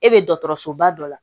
E be dɔkɔtɔrɔsoba dɔ la